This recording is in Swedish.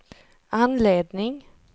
anledning